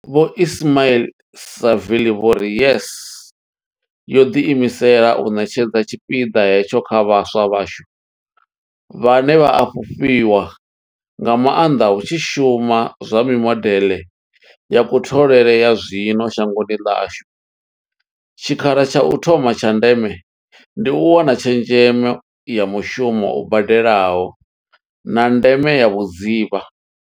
Vho Ismail-Saville vho ri YES yo ḓi imisela u ṋetshedza tshipiḓa hetsho kha vhaswa vhashu, vhane vha a fhufhiwa nga maanḓa hu tshi shuma mimodeḽe ya kutholele ya zwino shangoni ḽashu, tshikhala tsha u thoma tsha ndeme ndi u wana tshezhemo ya mushumo u badelaho, na ndeme ya vhudzivha.